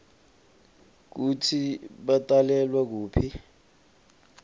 kutsi batalelwa kuphi